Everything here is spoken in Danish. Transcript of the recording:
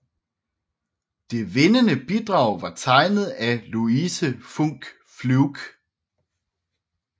Det vindende bidrag var tegnet af Louise Funk Fluke